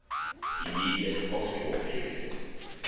immediate postwar period